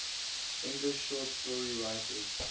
english short story writers